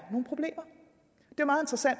jo